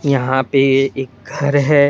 यहां पे एक घर है।